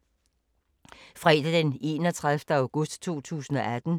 Fredag d. 31. august 2018